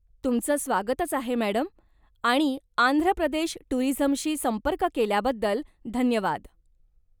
तुमचं स्वागतंच आहे, मॅडम, आणि आंध्रप्रदेश टूरीझमशी संपर्क केल्याबद्दल धन्यवाद.